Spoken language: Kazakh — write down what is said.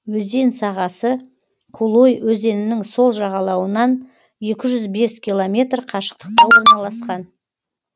өзен сағасы кулой өзенінің сол жағалауынан екі жүз бес километр қашықтықта орналасқан